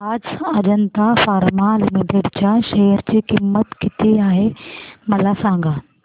आज Ajanta pharma limited च्या share ची किंमत किती आहे मला सांगा